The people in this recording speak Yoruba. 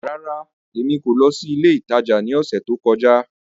Rárá, Emi ko lọ si ile itaja ni ọsẹ to kọja.